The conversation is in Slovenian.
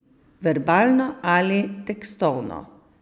Verbalno ali tekstovno.